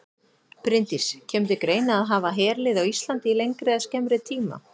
Bryndís: Kemur til greina að hafa herlið á Íslandi í lengri eða skemmri tíma?